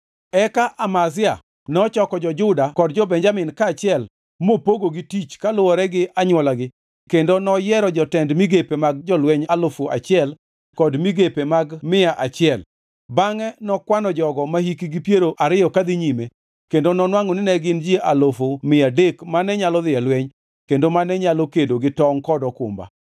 Eka Amazia nochoko jo-Juda kod jo-Benjamin kaachiel mopogogi tich kaluwore gi anywolagi kendo noyiero jotend migepe mag jolweny alufu achiel kod migepe mag mia achiel. Bangʼe nokwano jogo mahikgi piero ariyo ka dhi nyime kendo nonwangʼo ni ne gin ji alufu mia adek mane nyalo dhi e lweny kendo mane nyalo kedo gi tongʼ kod okumba.